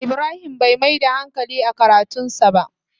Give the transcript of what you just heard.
Ibrahim Bai Mai da hankali a karatun sa ba.